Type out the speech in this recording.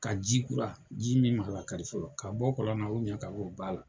Ka ji kura, ji min ma lakari fɔlɔ . Ka bɔ kɔlɔn na ka bɔ ba la.